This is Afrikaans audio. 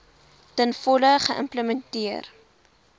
ten volle geïmplementeer